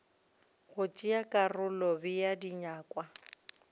go tšea karolo bea dinyakwa